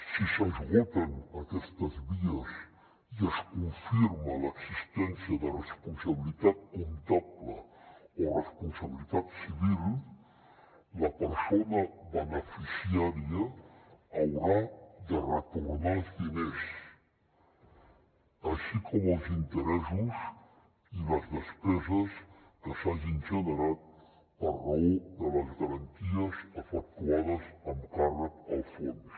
si s’esgoten aquestes vies i es confirma l’existència de responsabilitat comptable o responsabilitat civil la persona beneficiària haurà de retornar els diners així com els interessos i les despeses que s’hagin generat per raó de les garanties efectuades amb càrrec al fons